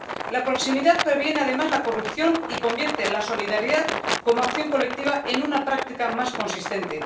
La proximidad previene además la corrupción y convierte la solidaridad, como acción colectiva, en una práctica más consistente.